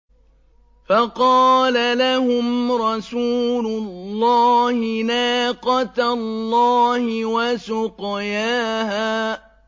فَقَالَ لَهُمْ رَسُولُ اللَّهِ نَاقَةَ اللَّهِ وَسُقْيَاهَا